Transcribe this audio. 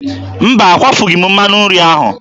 Mba, akwafughị m mmanụ nri ahụ.